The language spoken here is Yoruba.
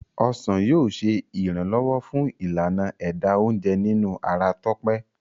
ọsán yíò ṣe iranlọwọ fun Ìlànà ẹ̀dà oúnjẹ nínú ara Tope.